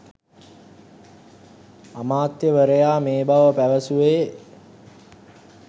අමාත්‍යවරයා මේ බව පැවසුවේ